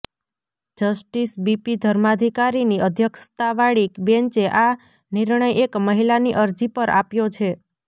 justice B ધર્માધિકારીની અધ્યક્ષતાવાળી બેંચે આ નિર્ણય એક મહિલાની અરજી પર આપ્યો છે